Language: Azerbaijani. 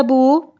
Elə bu?